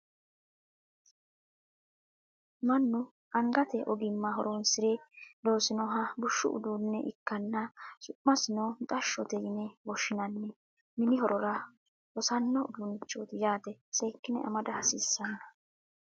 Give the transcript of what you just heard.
Mannu angate ogimma horonsire loosinoha bushshu uduunne ikkanna su'masino mixashshote yine woshshinanni mini horora hosanno uduunnichooti yaate seekkine amda hasiissanno